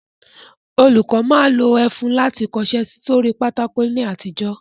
Olùkọ́ máa ń lo ẹfun láti fi kọṣẹ́ sórí pátákó ní àtijọ́